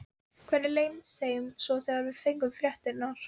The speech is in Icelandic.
Hvernig leið þeim svo þegar þeir fengu fréttirnar?